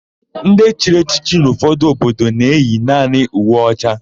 Ndị chiri echiche n'ụfọdụ obodo na-eyi naanị uwe ọcha.